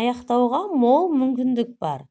аяқтауға мол мүмкіндік бар